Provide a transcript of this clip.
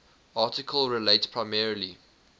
article relates primarily